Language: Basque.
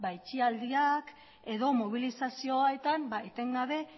itxialdiak edo mobilizazioetan etengabe